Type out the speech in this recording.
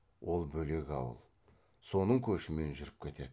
ол бөлек ауыл соның көшімен жүріп кетеді